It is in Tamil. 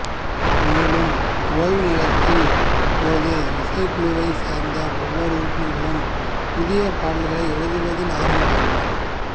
மேலும் ஓய்வு நேரங்களின் போது இசைக்குழுவைச் சேர்ந்த ஒவ்வொரு உறுப்பினர்களும் புதிய பாடல்களை எழுதுவதில் ஆர்வம் காட்டினர்